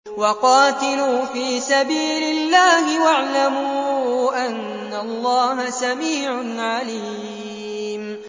وَقَاتِلُوا فِي سَبِيلِ اللَّهِ وَاعْلَمُوا أَنَّ اللَّهَ سَمِيعٌ عَلِيمٌ